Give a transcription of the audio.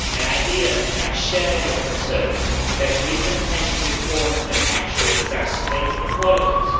I hear and share your concerns that recent pension reforms may actually exacerbate inequalities.